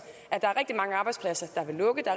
at der er rigtig mange arbejdspladser der vil lukke der